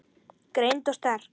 Greind og sterk.